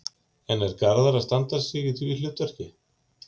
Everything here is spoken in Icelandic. En er Garðar að standa sig í því hlutverki?